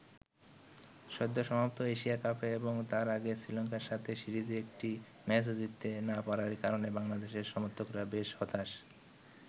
সদ্য সমাপ্ত এশিয়া কাপে এবং তার আগে শ্রীলঙ্কার সাথে সিরিজে একটি ম্যাচও জিততে না পারার কারণে বাংলাদেশের সমর্থকরা বেশ হতাশ।